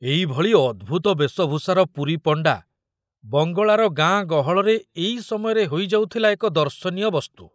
ଏଇ ଭଳି ଅଦ୍ଭୁତ ବେଶଭୂଷାର ପୁରୀ ପଣ୍ଡା ବଙ୍ଗଳାର ଗାଁ ଗହଳରେ ଏଇ ସମୟରେ ହୋଇଯାଉଥିଲା ଏକ ଦର୍ଶନୀୟ ବସ୍ତୁ।